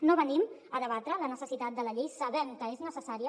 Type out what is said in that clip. no venim a debatre la necessitat de la llei sabem que és necessària